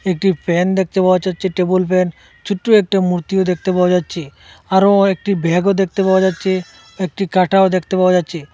একটি প্যান দেখতে পাওয়া যাচ্চে টেবুল প্যান ছুট্ট একটা মূর্তিও দেখতে পাওয়া যাচ্চে আরো একটি ব্যাগও দেখতে পাওয়া যাচ্চে একটি কাটাও দেকতে পাওয়া যাচ্চে।